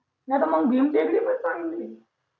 नाही तर मग भीम टेकडी पण चांगली ये